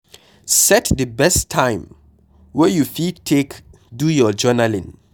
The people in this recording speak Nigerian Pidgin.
Set di best time wey you fit take do your journalling